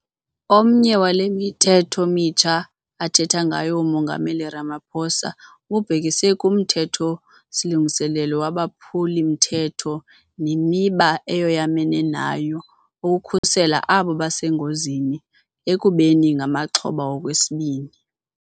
Omnye wale mithetho mitsha athetha ngayo uMongameli Ramaphosa ububhekise kuMthetho-silungiso waboPhuli-mthetho neMiba eyoyamene nayo okhusela abo basengozini ekubeni ngamaxhoba okwesibini.